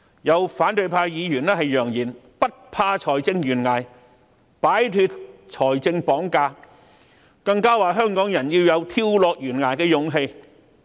有反對派議員揚言，不怕財政懸崖，擺脫財政綁架，更指香港人要有跳下懸崖的勇氣。